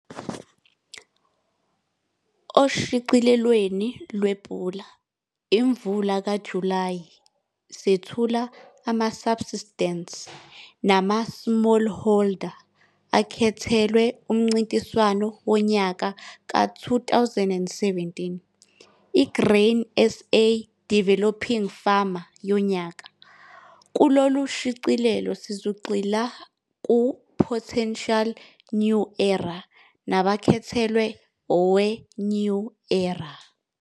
Oshicilelweleni lwePula Imvula kaJulayi sethula ama-Subsistence nama-Smallholder akhethelwe umncintiswano wonyaka ka-2017 i-Grain SA Developing Farmer Yonyaka. Kulolushicilelo sizogxila ku-Potential New Era nabakhethelwe owe-New Era.